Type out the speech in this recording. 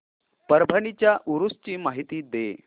परभणी च्या उरूस ची माहिती दे